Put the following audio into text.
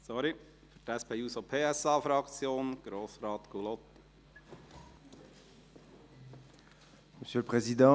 Für die SP-JUSO-PSA-Fraktion: Grossrat Gullotti.